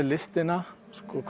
listina